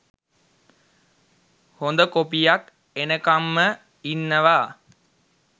හොඳ කොපියක් එනකංම ඉන්නව.